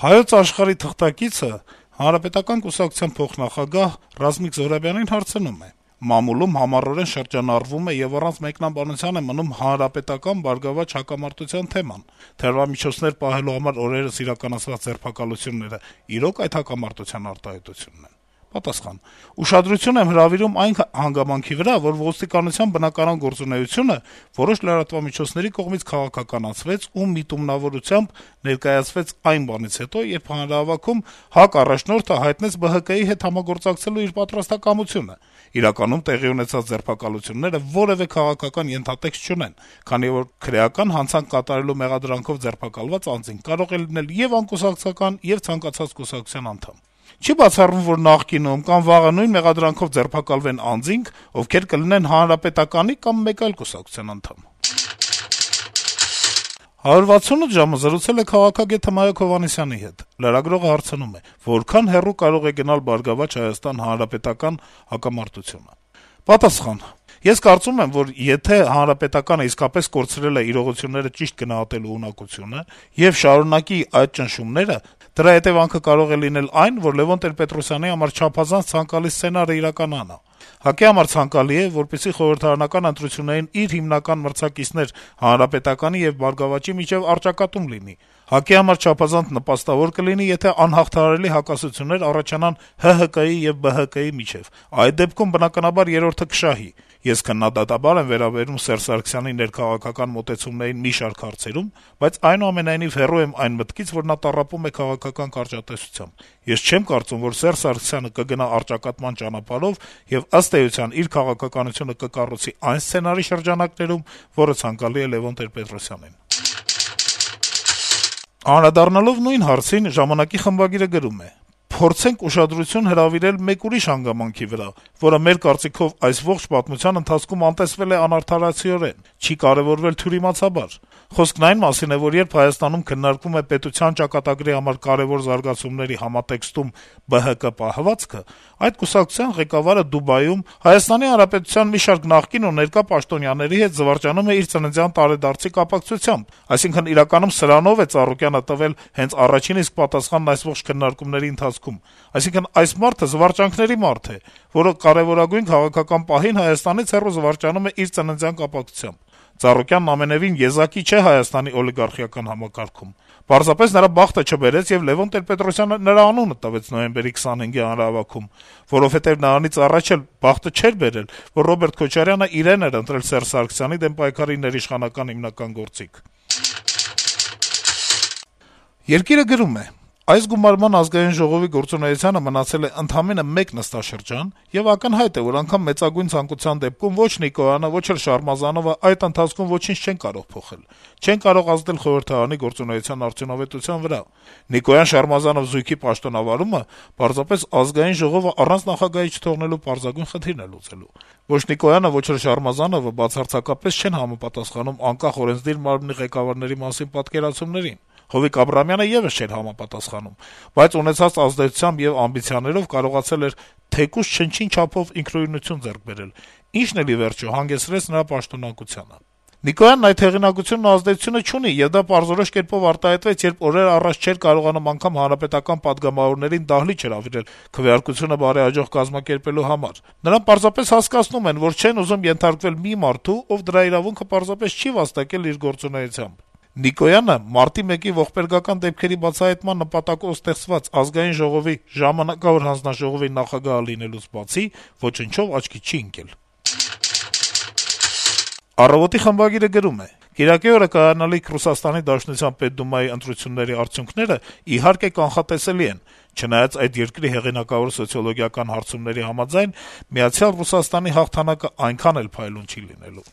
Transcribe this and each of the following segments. «Հայոց աշխարհ»-ի թղթակիցը Հանրապետական կուսակցության փոխնախագահ Ռազմիկ Զոհրաբյանին հարցնում է. - «Մամուլում համառորեն շրջանառվում եւ առանց մեկնաբանության է մնում ՀՀԿ - ԲՀԿ հակամարտության թեման: Թմրամիջոցներ պահելու համար օրերս իրականացված ձերբակալություններն իրո՞ք այդ հակամարտության արտահայտությունն են»: Պատասխան. - «Ուշադրություն եմ հրավիրում այն հանգամանքի վրա, որ ոստիկանության բնականոն գործունեությունը որոշ լրատվամիջոցների կողմից քաղաքականացվեց ու միտումնավորությամբ ներկայացվեց այն բանից հետո, երբ հանրահավաքում ՀԱԿ առաջնորդը հայտնեց ԲՀԿ-ի հետ համագործակցելու իր պատրաստակամությունը: Իրականում տեղի ունեցած ձերբակալությունները որեւէ քաղաքական ենթատեքստ չունեն, քանի որ քրեական հանցանք կատարելու մեղադրանքով ձերբակալված անձինք կարող են լինել ե՛ւ անկուսակցական, ե՛ւ ցանկացած կուսակցության անդամ: Չի բացառվում, որ նախկինում կամ վաղը նույն մեղադրանքով ձերբակալվեն անձինք, ովքեր կլինեն Հանրապետականի կամ մեկ այլ կուսակցության անդամ»: «168 ժամ»-ը զրուցել է քաղաքագետ Հմայակ Հովհաննիսյանի հետ։ Լրագրողը հարցնում է. - «Որքա՞ն հեռու կարող են գնալ այս իրադարձությունները»։ Պատասխան. - «Ես կարծում եմ, որ եթե ՀՀԿ-ն իսկապես կորցրել է իրողությունները ճիշտ գնահատելու ունակությունը եւ շարունակի այդ ճնշումները, դրա հետեւանքը կարող է լինել այն, որ Լեւոն Տեր-Պետրոսյանի համար չափազանց ցանկալի սցենարը կիրականանա։ ՀԱԿ-ի համար ցանկալի է, որպեսզի խորհրդարանական ընտրություններին իր հիմնական մրցակիցներ ՀՀԿ-ի եւ ԲՀԿ-ի միջեւ առճակատում լինի։ ՀԱԿ-ի համար չափազանց նպաստավոր կլինի, եթե անհաղթահարելի հակասություններ առաջանան ՀՀԿ-ի եւ ԲՀԿ-ի միջեւ, այդ դեպքում, բնականաբար, երրորդը կշահի։ Ես քննադատաբար եմ վերաբերվում Սերժ Սարգսյանի ներքաղաքական մոտեցումներին մի շարք հարցերում, բայց, այնուամենայնիվ, հեռու եմ այն մտքից, որ նա տառապում է քաղաքական կարճատեսությամբ։ Ես չեմ կարծում, որ Սերժ Սարգսյանը կգնա առճատկատման ճանապարհով եւ, ըստ էության, իր քաղաքականությունը կկառուցի այն սցենարի շրջանակներում, որը ցանկալի է Լեւոն Տեր-Պետրոսյանին»։ Անդրադառնալով նույն հարցին` «Ժամանակ»-ի խմբագիրը գրում է. - «Մենք այժմ կփորձենք ուշադրություն հրավիրել մեկ ուրիշ հանգամանքի վրա, որը, մեր կարծիքով, այս ամբողջ պատմության ընթացքում անտեսվել է անարդարացիորեն, չի կարեւորվել թյուրիմացաբար։ Խոսքն այն մասին է, որ երբ Հայաստանում քննարկվում է պետության ճակատագրի համար կարեւոր զարգացումների համատեքստում ԲՀԿ պահվածքը, այդ կուսակցության ղեկավարը Դուբայում ՀՀ մի շարք նախկին ու ներկա պաշտոնյաների հետ զվարճանում է իր ծննդյան տարեդարձի կապակցությամբ։ Այսինքն` իրականում սրանով է Ծառուկյանը տվել հենց առաջին իսկ պատասխանն այս ողջ քննարկումների ընթացքում։ Այսինքն` այս մարդը զվարճանքների մարդ է, որը կարեւորագույն քաղաքական պահին Հայաստանից հեռու զվարճանում է իր ծննդյան կապակցությամբ։ Ծառուկյանն ամենեւին եզակի չէ Հայաստանի օլիգարխիական համակարգում։ Պարզապես նրա բախտը չբերեց, եւ Լեւոն Տեր-Պետրոսյանը նրա անունը տվեց նոյեմբերի 25-ի հանրահավաքում, որովհետեւ նրանից առաջ էլ բախտը չէր բերել, որ Ռոբերտ Քոչարյանն իրեն էր ընտրել Սերժ Սարգսյանի դեմ պայքարի ներիշխանական հիմնական գործիք»։ «Երկիր»-ը գրում է. - «Այս գումարման Ազգային ժողովի գործունեությանը մնացել է ընդամենը մեկ նստաշրջան եւ ակնհայտ է, որ անգամ մեծագույն ցանկության դեպքում ո՛չ Նիկոյանը, ո՛չ էլ Շարմազանովը այդ ընթացքում ոչինչ չեն կարող փոխել, չեն կարող ազդել խորհրդարանի գործունեության արդյունավետության վրա։ Նիկոյան - Շարմազանով զույգի պաշտոնավարումը պարզապես ԱԺ-ն առանց նախագահի չթողնելու պարզագույն խնդիրն է լուծելու։ Ո՛չ Նիկոյանը, ո՛չ էլ Շարմազանովը բացարձակապես չեն համապատասխանում անկախ օրենսդիր մարմնի ղեկավարների մասին պատկերացումներին։ Հովիկ Աբրահամյանը եւս չէր համապատասխանում, բայց ունեցած ազդեցությամբ եւ ամբիցիաներով կարողացել էր թեկուզ չնչին չափով ինքնուրույնություն ձեռք բերել, ինչն էլ, ի վերջո, հանգեցրեց նրա պաշտոնանկությանը։ Նիկոյանն այդ հեղինակությունն ու ազդեցությունը չունի եւ դա պարզորոշ կերպով արտահայտվեց, երբ օրեր առաջ չէր կարողանում անգամ հանրապետական պատգամավորներին դահլիճ հրավիրել` քվեարկությունը բարեհաջող կազմակերպելու համար։ Նրան պարզապես հասկացնում են, որ չեն ուզում ենթարկվել մի մարդու, ով դրա իրավունքը պարզապես չի վաստակել իր գործունեությամբ։ Նիկոյանը, մարտի մեկի ողբերգական դեպքերի բացահայտման նպատակով ստեղծված ԱԺ ժամանակավոր հանձնաժողովի նախագահը լինելուց բացի, ոչնչով աչքի չի ընկել»։ «Առավոտ»-ի խմբագիրը գրում է. - «Կիրակի օրը կայանալիք ՌԴ Պետդումայի ընտրությունների արդյունքներն, իհարկե, կանխատեսելի են` չնայած, այդ երկրի հեղինակավոր սոցիոլոգիական հարցումների համաձայն, «Միացյալ Ռուսաստանի» հաղթանակն այնքան էլ փայլուն չի լինելու։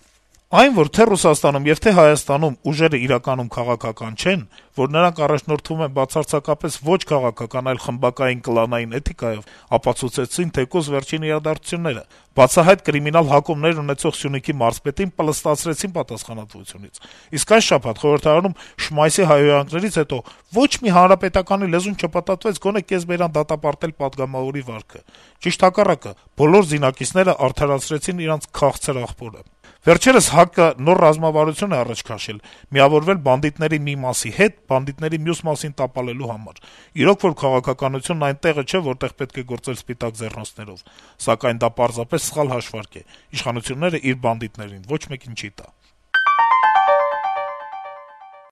Այն, որ թե Ռուսաստանում եւ թե Հայաստանում ուժերն իրականում քաղաքական չեն, որ նրանք առաջնորդվում են բացարձակապես ոչ քաղաքական, այլ խմբակային, կլանային էթիկայով, ապացուցեցին թեկուզ վերջին իրադարձությունները։ Բացահայտ կրիմինալ հակումներ ունեցող Սյունիքի մարզպետին «պլստացրեցին» պատասխանատվությունից, իսկ այս շաբաթ խորհրդարանում Շմայսի հայհոյանքներից հետո ոչ մի հանրապետականի լեզուն չպտտվեց գոնե կեսբերան դատապարտել պատգամավորի վարքը։ Ճիշտ հակառակը` բոլոր զինակիցներն արդարացրին իրենց «քաղցր աղբորը»։ Վերջերս ՀԱԿ-ը նոր ռազմավարություն է առաջ քաշել. միավորվել բանդիտների մի մասի հետ` բանդիտների մյուս մասին տապալելու համար։ Իրոք որ, քաղաքականությունն այն տեղը չէ, որտեղ պետք է գործել սպիտակ ձեռնոցներով։ Սակայն դա պարզապես սխալ հաշվարկ է` իշխանությունը իր բանդիտներին ոչ մեկի չի տա»։